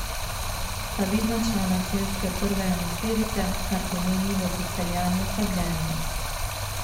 Sta vidna člana celjske prve enajsterice, kar pomeni, da so Celjani oslabljeni.